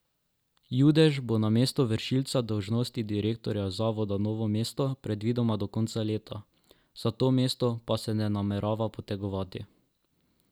Judež bo na mestu vršilca dolžnosti direktorja Zavoda Novo mesto predvidoma do konca leta, za to mesto pa se ne namerava potegovati.